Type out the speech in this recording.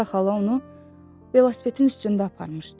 Qreta xala onu velosipedin üstündə aparmışdı.